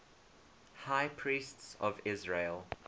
high priests of israel